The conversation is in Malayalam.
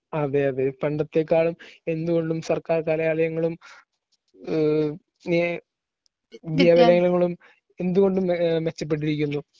അതെ അതെ പണ്ടത്തേക്കാളും എന്തുകൊണ്ടും സർക്കാർ കലാലയങ്ങളും ഏഹ് നീ വിദ്യാലയങ്ങളും എന്തുകൊണ്ടും മെ മെച്ചപ്പെട്ടിരിക്കുന്നു.